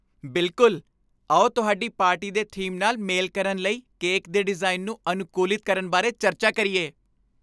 ਬਿਲਕੁਲ! ਆਓ ਤੁਹਾਡੀ ਪਾਰਟੀ ਦੇ ਥੀਮ ਨਾਲ ਮੇਲ ਕਰਨ ਲਈ ਕੇਕ ਦੇ ਡਿਜ਼ਾਈਨ ਨੂੰ ਅਨੁਕੂਲਿਤ ਕਰਨ ਬਾਰੇ ਚਰਚਾ ਕਰੀਏ।